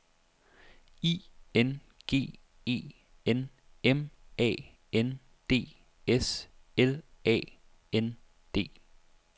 I N G E N M A N D S L A N D